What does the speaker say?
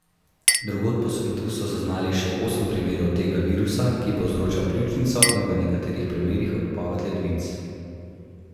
Drugod po svetu so zaznali še osem primerov tega virusa, ki povzroča pljučnico in v nekaterih primerih odpoved ledvic.